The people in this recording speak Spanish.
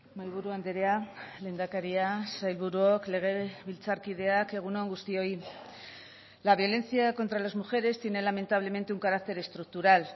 mahaiburu andrea lehendakaria sailburuok legebiltzarkideak egun on guztioi la violencia contra las mujeres tiene lamentablemente un carácter estructural